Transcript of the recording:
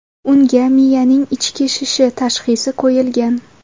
Unga miyaning ichki shishi tashxisi qo‘yilgan.